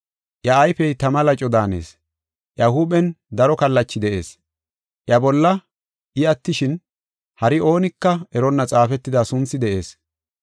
Iya ayfey tama laco daanees; iya huuphen daro kallachi de7ees. Iya bolla I attishin, hari oonika eronna xaafetida sunthi de7ees.